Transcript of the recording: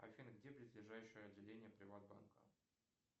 афина где близлежащее отделение приватбанка